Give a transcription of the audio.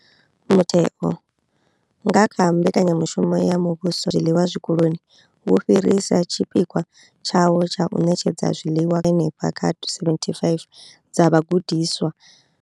Mutheo, nga kha Mbekanya mushumo ya Muvhuso ya U phakhela zwiḽiwa Zwikoloni, wo fhirisa tshipikwa tshawo tsha u ṋetshedza zwiḽiwa kha phesenthe dza henefha kha 75 dza vhagudiswa.